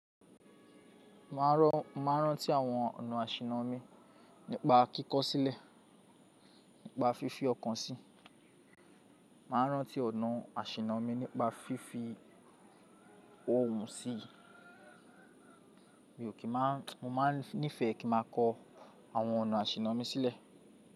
Mo máa rántí àwọn ọ̀nà àṣìńnọ̀ mi nípa kíkọ sílẹ̀, nípa fífi ọkàn sì, máa rántí ọ̀nà àṣìńnọ̀ mi nípa fífi ohùn sí i. Mo máa nífẹ̀ẹ́ kí n má a kọ àwọn ọ̀nà àṣìńnọ̀ mi sílẹ̀.